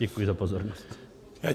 Děkuji za pozornost.